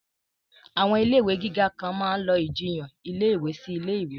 Àwọn ilé ìwé gíga kan máa lọ ìjiyàn ilé ìwé sí ilé ìwé